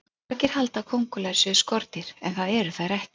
Margir halda að kóngulær séu skordýr en það eru þær ekki.